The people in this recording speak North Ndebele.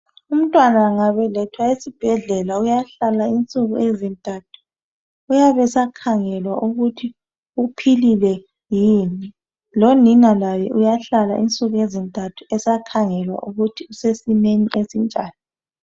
Umntwana emgabelethwa esibhedlela uyahlala insuku ezintathu uyabe esakhangelwa ukuthi uphilile yini lonina laye uyahlala insuku ezintathu esakhangelwa ukuthi usesimeni ezinjani.